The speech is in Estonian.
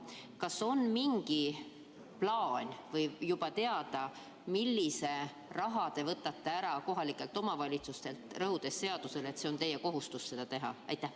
Kas on mingi plaan või on juba teada, millise raha te võtate kohalikelt omavalitsustelt ära, rõhudes seadusele, et see on teie kohustus seda teha?